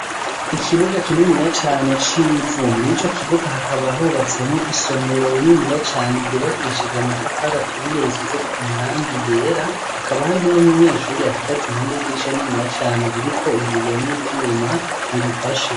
Ikibuga kininiya cane c’ivu ,mw’ico kibuga hakaba hubatsemwo isomero rininiya cane ryubakishije amatafari aturiye risize ko amarangi yera hakaba hariho n'umunyeshuri ahagaze impande y'idirisha rininiya cane ririko ibiyo n’ivyuma birifashe.